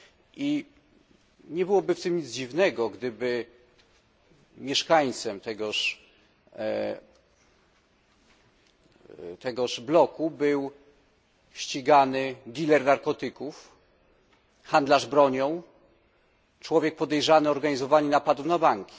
I nie byłoby w tym nic dziwnego, gdyby mieszkańcem tegoż bloku był ścigany diler narkotyków, handlarz bronią, człowiek podejrzany o organizowanie napadów na banki.